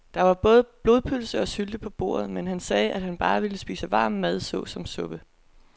Der var både blodpølse og sylte på bordet, men han sagde, at han bare ville spise varm mad såsom suppe.